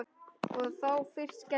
Og þá fyrst gerðist það.